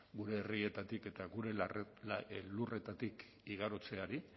gure herrietatik eta gure lurretatik igarotzeari